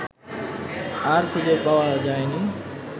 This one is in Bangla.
আর খুঁজে পাওয়া যায়নি